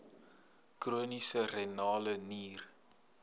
chroniese renale nier